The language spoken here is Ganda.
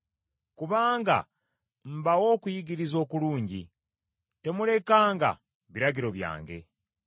Kubanga mbawa okuyigiriza okulungi; temulekanga biragiro byange.